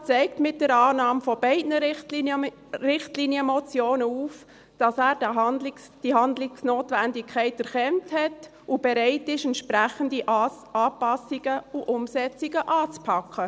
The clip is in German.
Der Regierungsrat zeigt mit der Annahme beider Richtlinienmotionen auf, dass er die Handlungsnotwendigkeit erkannt hat und bereit ist, entsprechende Anpassungen und Umsetzungen anzupacken.